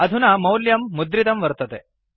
अधुना मौल्यं मुद्रितं वर्तते